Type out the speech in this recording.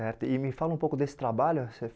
Eh e me fala um pouco desse trabalho você.